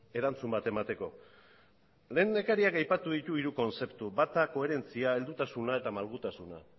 erantzun bat emateko hemen lehendakariak aipatu ditu hiru kontzeptu koherentzia heldutasuna eta malgutasuna